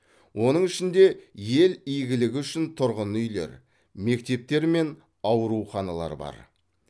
оның ішінде ел игілігі үшін тұрғын үйлер мектептер мен ауруханалар бар